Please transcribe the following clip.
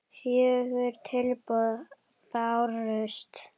Fjögur tilboð bárust í verkið.